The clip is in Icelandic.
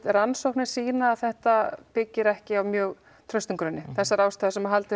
rannsóknir sýna að þetta byggir ekki á mjög traustum grunni það þessar ástæður sem haldið